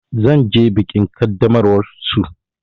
Zan je bikin ƙaddamarwar su.